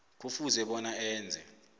kufuze bona enze